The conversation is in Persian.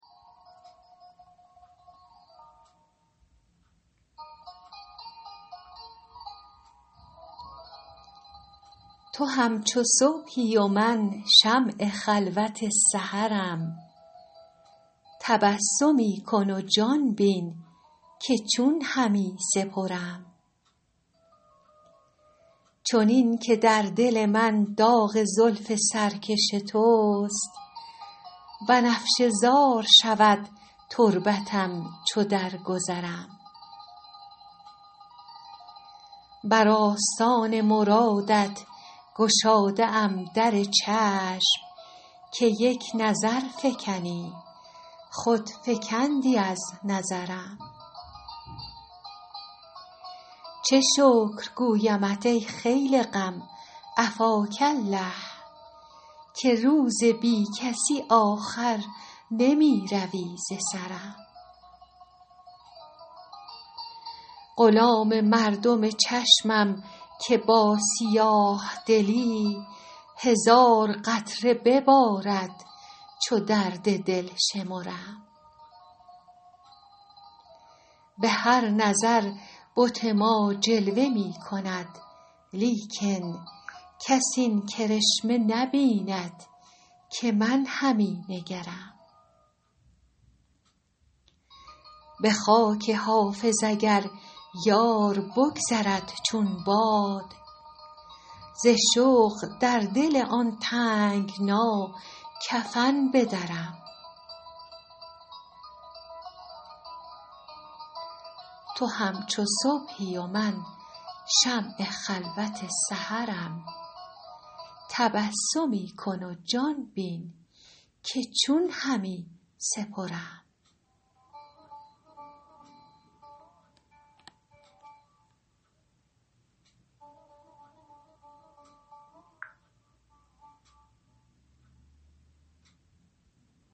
تو همچو صبحی و من شمع خلوت سحرم تبسمی کن و جان بین که چون همی سپرم چنین که در دل من داغ زلف سرکش توست بنفشه زار شود تربتم چو درگذرم بر آستان مرادت گشاده ام در چشم که یک نظر فکنی خود فکندی از نظرم چه شکر گویمت ای خیل غم عفاک الله که روز بی کسی آخر نمی روی ز سرم غلام مردم چشمم که با سیاه دلی هزار قطره ببارد چو درد دل شمرم به هر نظر بت ما جلوه می کند لیکن کس این کرشمه نبیند که من همی نگرم به خاک حافظ اگر یار بگذرد چون باد ز شوق در دل آن تنگنا کفن بدرم